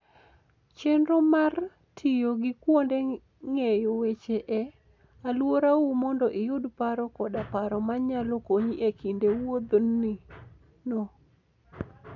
Chenro mar tiyo gi kuonde ng'eyo weche e alworau mondo iyud paro koda paro manyalo konyi e kinde wuodhino.